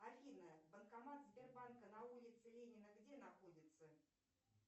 афина банкомат сбербанка на улице ленина где находится